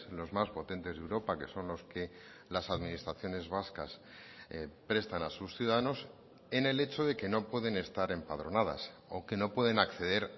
los más potentes de europa que son los que las administraciones vascas prestan a sus ciudadanos en el hecho de que no pueden estar empadronadas o que no pueden acceder